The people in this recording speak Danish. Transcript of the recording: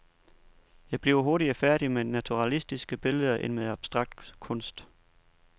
Jeg bliver hurtigere færdig med naturalistiske billeder, end med abstrakt kunst.